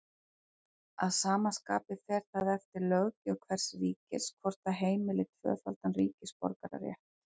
Að sama skapi fer það eftir löggjöf hvers ríkis hvort það heimili tvöfaldan ríkisborgararétt.